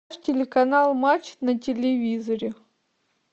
телеканал матч на телевизоре